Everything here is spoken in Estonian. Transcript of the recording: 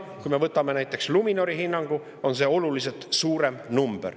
Kui me võtame näiteks Luminori hinnangu, on see number oluliselt suurem.